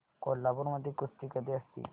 कोल्हापूर मध्ये कुस्ती कधी असते